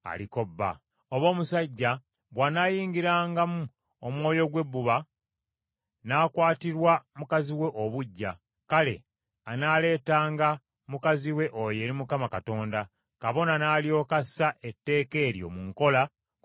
oba omusajja bw’anaayingirangamu omwoyo ogw’ebbuba, n’akwatirwa mukazi we obuggya; kale anaaleetanga mukazi we oyo eri Mukama Katonda, kabona n’alyoka assa etteeka eryo mu nkola ku mukazi oyo.